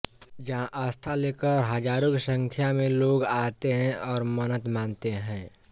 जहां आस्था लेकर हजारो की संख्या में लोग आते हैऔर मन्नत मानते है